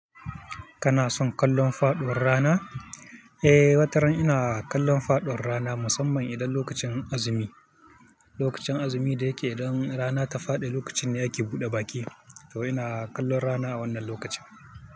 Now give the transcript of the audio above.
Kana son kallon faɗuwar rana? Eh, wataran ina kallon faɗuwar rana musamman idan lokacin azumi. Lokacin azumi da yake idan rana ta faɗi, lokacin da yake buɗe baƙi to ina kallon rana a wannan lokacin.